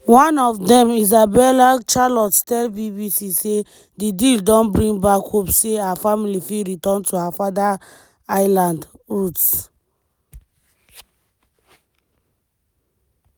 one of dem isabelle charlot tell bbc say di deal don bring back hopes say her family fit return to her father island "roots".